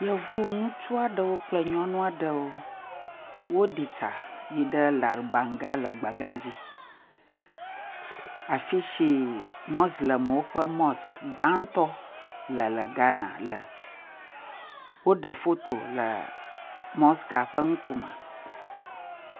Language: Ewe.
Yevu ŋutsu aɖewo kple yevu nyɔnu aɖewo. Wo ɖi tsia yi ɖe larbanga le gbega dzi afisi moslemwo ƒe mosque gbãtɔ le le Ghana me. Wo ɖe foto le mosque ah ƒe ŋkume.